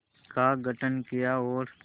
का गठन किया और